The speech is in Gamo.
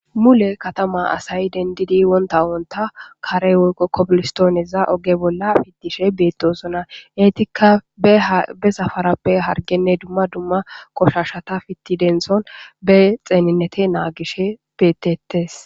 Mule katama asay dendidi wonta wonta karey kobilistooneza oge bolla fidishe beettosona eetikka be safarappe hargenne dumma dumma koshashata fitti denson be xeeninnete naagish bettettes